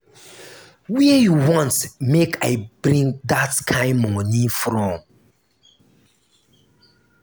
where you want make i bring dat kin money from?